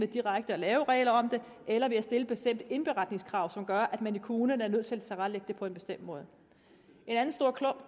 direkte at lave regler om det eller ved at stille bestemte indberetningskrav som gør at kommunerne er nødt til at tilrettelægge det på en bestemt måde